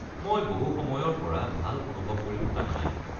মই বহু সময়ৰ পৰা ভাল অনুভৱ কৰি থকা নাই।